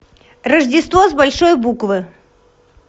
рождество с большой буквы